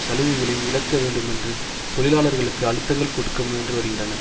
சலுகைகளையும் இழக்க வேண்டுமென்று தொழிலாளர்களுக்கு அழுத்தங்கள் கொடுக்க முயன்று வருகின்றன